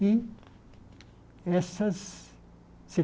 E essas